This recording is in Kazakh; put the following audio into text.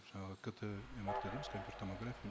жаңағы кт мрт дейміз компьютерная томография